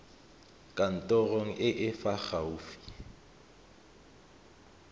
kantorong e e fa gaufi